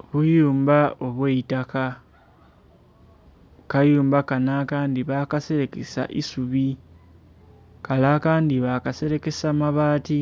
Obuyumba obweitaka, akayumba Kano akandi bakaserekesa isubi kale akandi bakaserekesa mabaati